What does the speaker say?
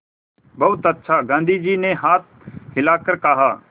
बहुत अच्छा गाँधी जी ने हाथ हिलाकर कहा